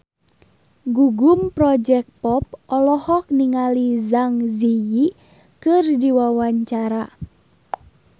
Gugum Project Pop olohok ningali Zang Zi Yi keur diwawancara